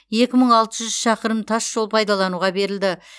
екі мың алты жүз шақырым тас жол пайдалануға берілді